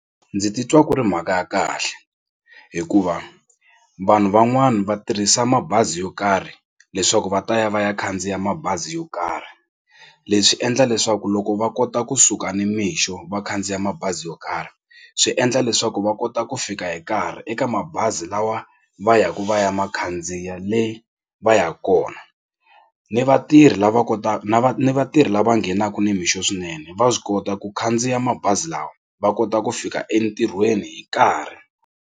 Ndzi titwa ku ri mhaka ya kahle hikuva vanhu van'wani va tirhisa mabazi yo karhi leswaku va ta ya va ya khandziya mabazi yo karhi. Leswi endla leswaku loko va kota kusuka nimixo va khandziya mabazi yo karhi swi endla leswaku va kota ku fika hi nkarhi eka mabazi lawa va yaka va ya ma khandziya leyi va yaka kona ni vatirhi lava kotaka na ni vatirhi lava nghenaka nimixo swinene va swi kota ku khandziya mabazi lawa va kota ku fika entirhweni hi nkarhi.